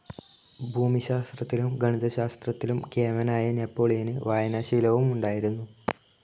ഭൂമിശാസ്ത്രത്തിലും ഗണിതശാസ്ത്രത്തിലും കേമനായ നെപ്പോളിയന് വായനാശീലവും ഉണ്ടായിരുന്നു,.